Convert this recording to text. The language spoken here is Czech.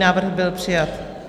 Návrh byl přijat.